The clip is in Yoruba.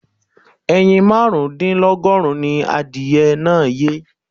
Ẹyin márùn-ún dínlógún ni adìyẹ náà yé.